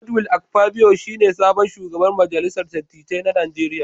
Godswill Akpabio shi ne sabon shugaban majalisar dattijai na Najeriya.